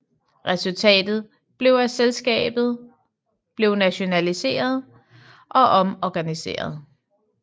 Resultatet blev at selskabet blev nationaliseret og omorganiseret